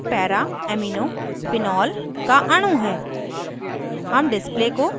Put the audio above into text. panel पर यह paraamino phenol का अणु है